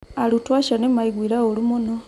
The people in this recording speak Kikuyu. Arutwo acio nĩ maaiguire ũũru mũno.